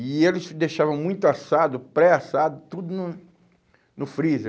E eles deixavam muito assado, pré-assado, tudo no no freezer.